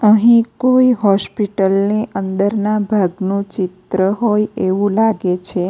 અહીં કોઈ હોસ્પિટલ ની અંદરના ભાગનું ચિત્ર હોય એવું લાગે છે.